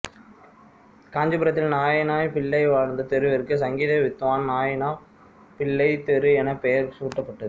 காஞ்சிபுரத்தில் நாயினாப் பிள்ளை வாழ்ந்த தெருவிற்கு சங்கீத வித்வான் நாயினாப் பிள்ளை தெரு என பெயர் சூட்டப்பட்டது